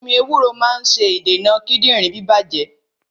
Ewúro máa ń wo ẹniti kíndìnrín bá bàjé